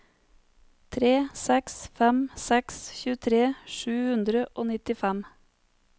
tre seks fem seks tjuetre sju hundre og nittifem